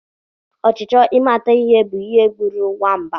Ọchịchọ ịmata ihe bu ihe gburu nwamba.